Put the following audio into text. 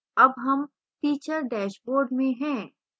अब हम teacher dashboard में हैं